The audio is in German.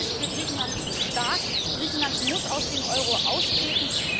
Der Euro ist für Griechenland zu stark. Griechenland muss aus dem Euro austreten.